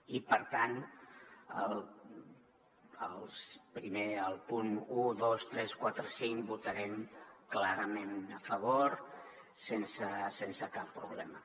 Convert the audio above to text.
i per tant als punts un dos tres quatre i cinc hi votarem clarament a favor sense cap problema